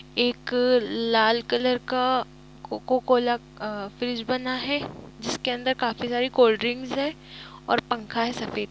एक लाल कलर का कोको कोला अ फ्रिज बना है जिसके अंदर काफी सारी कोल्ड ड्रिंक्स है और पंखा है सफेद कलर का।